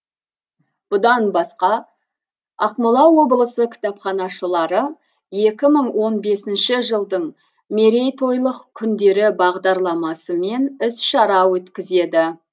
бұдан басқа ақмола облысы кітапханашылары екі мың он бесінші жылдың мерейтойлық күндері бағдарламасымен іс шара өткізеді